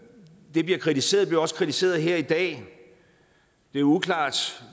det bliver kritiseret bliver også kritiseret her i dag det er uklart